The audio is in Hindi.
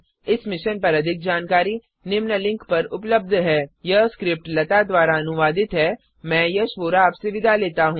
इस मिशन पर अधिक जानकारी निम्न लिंक पर उपलब्ध है httpspoken tutorialorgNMEICT Intro यह स्क्रिप्ट लता द्वारा अनुवादित है मैं यश वोरा आपसे विदा लेता हूँ